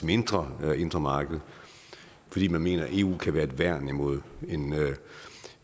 mindre indre marked fordi man mener at eu kan være et værn imod